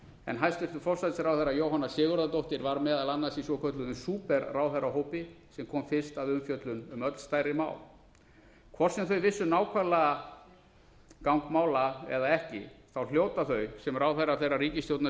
en hæstvirtur forsætisráðherra jóhanna sigurðardóttir var meðal annars í svokölluðum súperráðherrahópi sem kom fyrst að umfjöllun um öll stærri mál hvort sem þau vissu nákvæmlega gang mála eða ekki hljóta þau sem ráðherrar þeirrar ríkisstjórnar